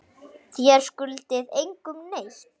Þér skuldið engum neitt.